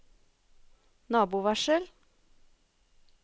nabovarsel